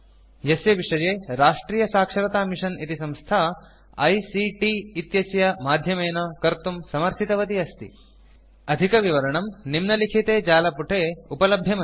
यस्य विषये राष्ट्रियसाक्षरतामिशन् इति संस्था ICTआइसीटि इत्यस्य माध्यमेन कर्तुं समर्थितवती अस्ति अधिकविवरणं निम्नलिखिते जालपुटे उपलभ्यमस्ति